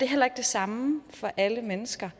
heller ikke det samme for alle mennesker